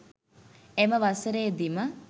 එම වසරේදීම